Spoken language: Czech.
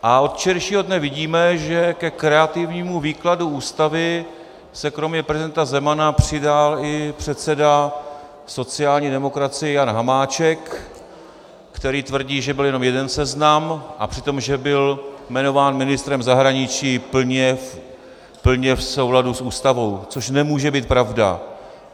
A od včerejšího dne vidíme, že ke kreativnímu výkladu Ústavy se kromě prezidenta Zemana přidal i předseda sociální demokracie Jan Hamáček, který tvrdí, že byl jenom jeden seznam, a přitom že byl jmenován ministrem zahraničí plně v souladu s Ústavou, což nemůže být pravda.